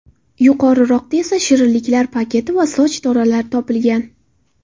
Yuqoriroqda esa shirinliklar paketi va soch tolalari topilgan.